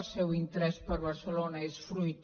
el seu interès per barcelona és fruit